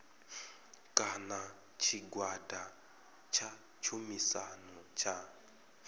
kana tshigwada tsha tshumisano tsha